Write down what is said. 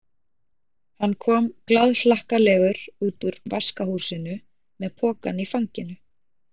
Hann kom glaðhlakkalegur út úr vaskahúsinu með pokann í fanginu.